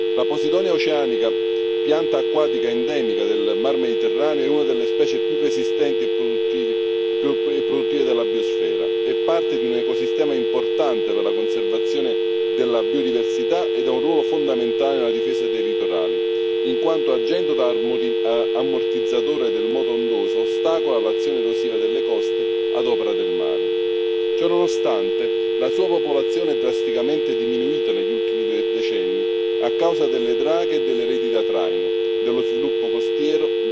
La Posidonia oceanica, pianta acquatica endemica del Mar Mediterraneo, è una delle specie più resistenti e produttive della biosfera, è parte di un ecosistema importante per la conservazione della biodiversità e ha un ruolo fondamentale nella difesa dei litorali in quanto, agendo da ammortizzatore del moto ondoso, ostacola l'azione erosiva delle coste ad opera del mare. Ciononostante, la sua popolazione è drasticamente diminuita negli ultimi due decenni a causa delle draghe e delle reti da traino, dello sviluppo costiero,